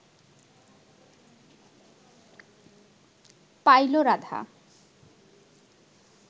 pile Radha